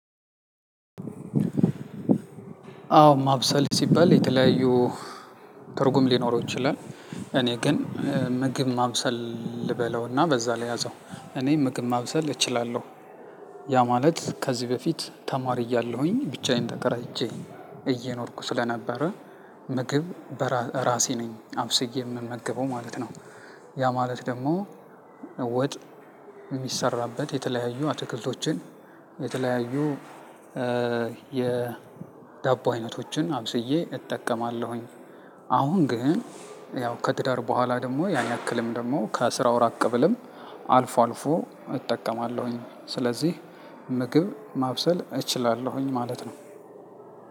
አዎ ማብሰል ሲባል የተለያዩ ትርጉም ሊኖረው ይችላል። እኔ ግን ምግብ ማብሰል ልበለውና በዛ ልያዘው እኔ ምግብ ማብሰል እችላለሁ። ያ ማለት ከዚህ በፊት ተማሪ እያለሁኝ ብቻዬን ተከራይቼ እየኖርኩ ስለነበረ ምግብ እራሴ ነኝ አብስዬ የምመገበው ማለት ነው። ያ ማለት ደግሞ ወጥ የሚሰራበት የተለያዩ አትክልቶችን የተለያዩ የዳቦ አይነቶችን አብዝዬ እጠቀማለሁኝ። አሁን ግን ያው ከትዳር በኋላ ደግሞ ያን ያክልም ደግሞ ከስርው ራቅ ብልም አልፎ አልፎ እጠቀማለሁኝ። ስለዚህ ምግብ ማብሰል እችላለሁኝ ማለት ነው።